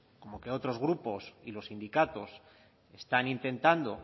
como que otros grupos y los sindicatos están intentando